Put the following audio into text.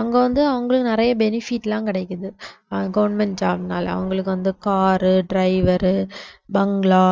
அங்க வந்துஅவங்களும் நிறைய benefit எல்லாம் கிடைக்குது ஆஹ் government job னால அவங்களுக்கு வந்து car driver bungalow